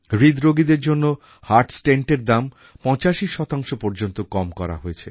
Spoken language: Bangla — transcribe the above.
হৃদরোগীদের জন্য হার্ট Stentএর দাম ৮৫ পর্যন্ত কম করা হয়েছে